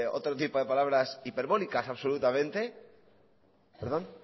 otro tipo de palabras hiperbólicas absolutamente perdón